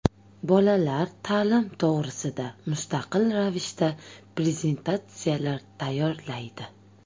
Bolalar ta’lim to‘g‘risida mustaqil ravishda prezentatsiyalar tayyorlaydi.